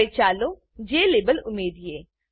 હવે ચાલો JLabel JLabel ઉમેરીએ